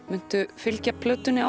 muntu fylgja plötunni